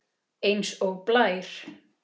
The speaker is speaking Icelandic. Eins og blær.